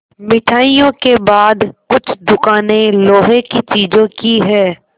मिठाइयों के बाद कुछ दुकानें लोहे की चीज़ों की हैं